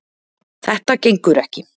Þetta gengur ekki